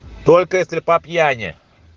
только если по пьяни